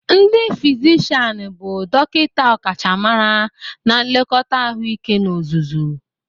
Ndi fizishian bụ dọkịta ọkachamara na nlekọta ahụike n'ozuzu.